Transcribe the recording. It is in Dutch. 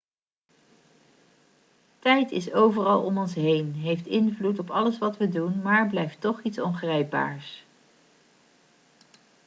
tijd is overal om ons heen heeft invloed op alles wat we doen maar blijft toch iets ongrijpbaars